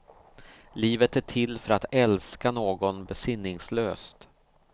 Livet är till för att älska någon besinningslöst.